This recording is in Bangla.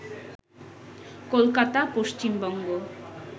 কলকাতা, পশ্চিমবঙ্গ